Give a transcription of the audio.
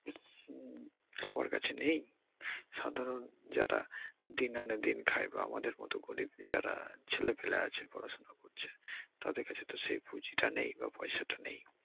উম সবার কাছে নেই।